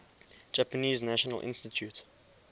japanese national institute